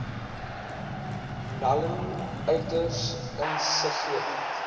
naln uiters insiggewend